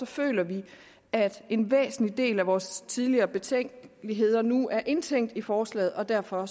føler vi at en væsentlig del af vores tidligere betænkeligheder nu er indtænkt i forslaget og derfor